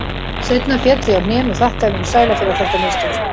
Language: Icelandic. Seinna féll ég á hnén og þakkaði mínum sæla fyrir að þetta mistókst.